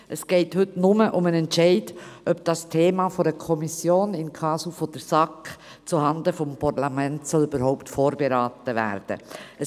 Heute geht es nur um den Entscheid, ob dieses Thema von einer Kommission, in casu von der SAK, zuhanden des Parlaments überhaupt vorberaten werden soll.